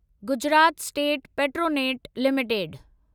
Gujarat state Petronet limited